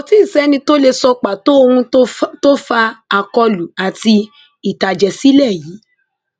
kò tí ì sẹni tó lè sọ pàtó ohun tó fa akólú àti ìtàjẹsílẹ yìí